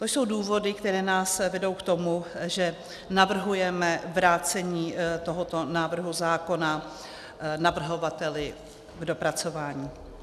To jsou důvody, které nás vedou k tomu, že navrhujeme vrácení tohoto návrhu zákona navrhovateli k dopracování.